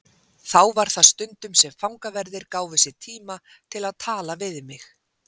Þá var það stundum sem fangaverðir gáfu sér tíma til að tala við mig.